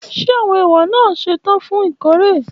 Ṣe awọn ewa naa ṣetan fun ikore?